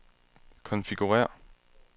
konfigurér